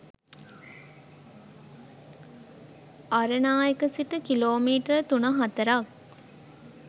අරණායක සිට කිලෝමීටර් තුන හතරක්